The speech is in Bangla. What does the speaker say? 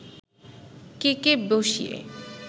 কেকে বসিয়ে